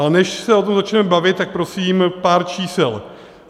Ale než se o tom začneme bavit, tak prosím pár čísel.